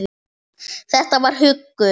Þetta var huggun.